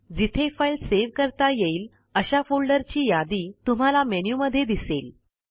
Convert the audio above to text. जिथे file save करता येईल अशा फोल्डरची यादी तुम्हाला मेनूमध्ये दिसेल